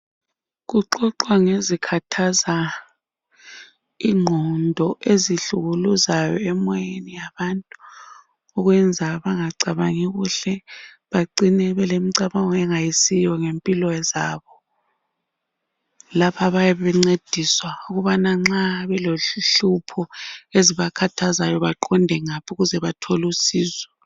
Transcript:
Kuxoxwa ngezikhathaza inqondo ezihlukuluzayo emoyeni wabantu ukwenza benga cabangi kuhle bacine belemicabango engayisiyo ngempilo zabo lapha bayabe bencediswa ukuthi ma belohlupho baqonde ngaphi ukuze bathole usizo.